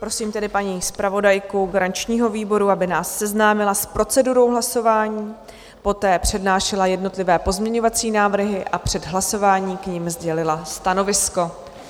Prosím tedy paní zpravodajku garančního výboru, aby nás seznámila s procedurou hlasování, poté přednášela jednotlivé pozměňovací návrhy a před hlasováním k ním sdělila stanovisko.